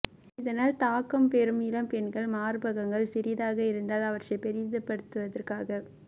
இதனால் தாக்கம் பெறும் இளம்பெண்கள் மார்பகங்கள் சிறிதாக இருந்தால் அவற்றை பெரிதுபடுத்துவதற்காக